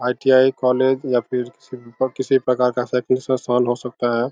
ITI. College या फिर किसी प्रकार का हो सकता है ।